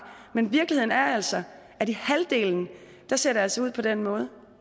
men virkeligheden er altså at i halvdelen ser det altså ud på den måde